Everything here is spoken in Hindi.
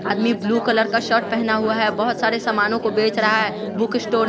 आदमी ब्लू कलर का शर्ट पहना हुआ है बहोत सारे सामानों को बेच रहा है बुक स्टोर --